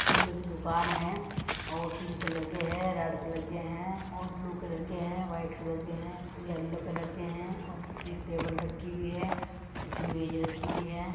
फूलो की दुकान है और पिंक कलर के है रेड कलर के है और ब्लू कलर के है व्हाइट कलर के है येल्लो कलर के है और कुछ ये टेबल रखी हुई है कुछ मेज रखी हुई है।